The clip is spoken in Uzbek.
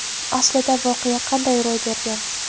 Aslida voqea qanday ro‘y bergan?.